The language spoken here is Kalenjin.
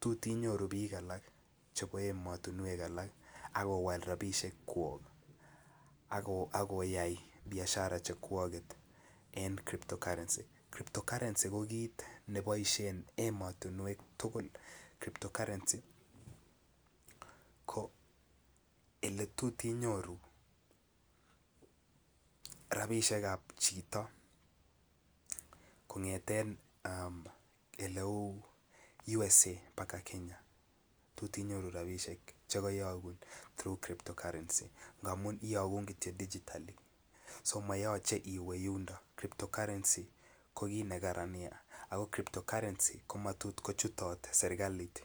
tot inyoru bik alak chebo emotinwek alak ak owal rabisiek kwok ako iyai Biashara chekwoket en crypto currency, crypto currency ko kit neboisie en emotinwek tugul crypto currency currency ko ole tot inyoru rabisiek ab chito kongeten oleu USA baka Kenya chekoyokun kobun crypto currency ngamun iyogun Kityo digitally ak monyoluu iwe yuniton crypto currency ko kit nekaran Nia ako matot kochut serkalit